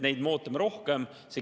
Neid me ootame juurde.